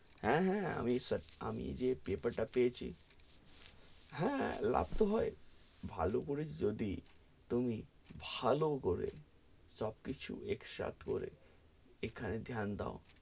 হ্যাঁ, হ্যাঁ আমি আমি জে paper তা পেয়েছি হ্যাঁ, লাভ তো হয়, ভালো করে যদি তুমি ভালো করে সব কিছু accept করে এখানে ধ্যান দোও,